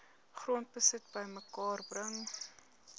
grondbesit bymekaar bring